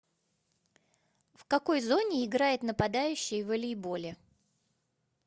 в какой зоне играет нападающий в волейболе